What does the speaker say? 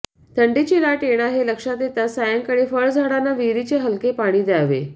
थंडीची लाट येणार हे लक्षात येताच सायंकाळी फळझाडांना विहिरीचे हलके पाणी दयावे